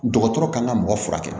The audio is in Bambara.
Dɔgɔtɔrɔ kan ka mɔgɔ furakɛ